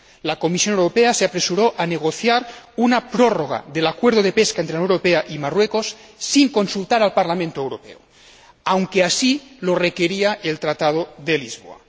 La Comisión Europea se apresuró a negociar una prórroga del Acuerdo de Pesca entre la Unión Europea y Marruecos sin consultar al Parlamento Europeo, aunque así lo requería el Tratado de Lisboa.